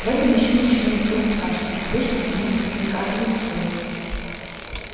в этом ещё не было ничего страшного обычно они наказывают стоя